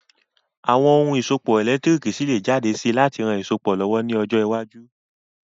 Àwon oun ìsopọ̀ ẹ̀lẹ́ntírikì ṣi lé jáde si láti ran isopọ̀ lọ̀wọ̀ ni ojọ́ iwájú